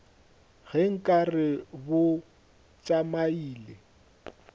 ge nka re bo tšamile